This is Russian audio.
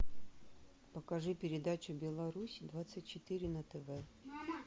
покажи передачу беларусь двадцать четыре на тв